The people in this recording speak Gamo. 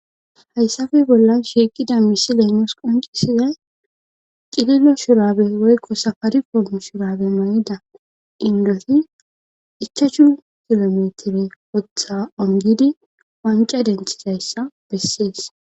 Hyssafe boolan shiiqida misiley nuus qonccisiday cililo shuraabe woykko samaye qommo shurrabe mayida inddoti ichashu sha7u metire wotha onggidi wancca denthizayssa bessees.